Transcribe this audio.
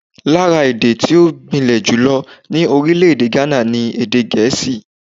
Lára èdè tí ó gbilẹ̀ jùlọ ní orílẹ̀-èdè Ghana ni Èdè Gẹ̀ẹ́sì.